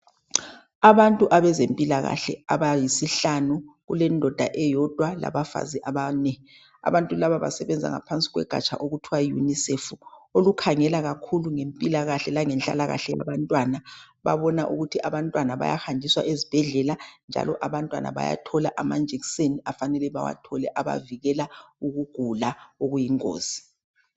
Abantu abezempilakahle abayisihlanu kule ndoda eyodwa labafazi abane abantu laba basebenza ngaphansi kogatsha okuthiwa yiunisefu olukhangela kakhulu mpilakahle langehlalakahle yabantwana bebabona ukuthi abantwana bayahanjiswa ezibhedlela njalo abantwana bathola amanjekiseni okufanele bewathole abavikela ukugula okuyingozi